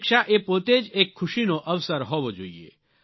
પરીક્ષા એ પોતે જ એક ખુશીનો અવસર હોવો જોઈએ